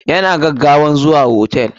Ya na gaggawan zuwa hotel.